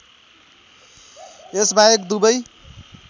यस बाहेक दुबै